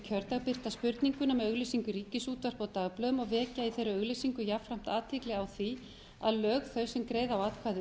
kjördag birta spurninguna með auglýsingu í ríkisútvarpi og dagblöðum og vekja í þeirri auglýsingu jafnframt athygli á því að lög þau sem greiða á atkvæði um